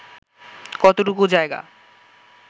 কতটুকু জায়গা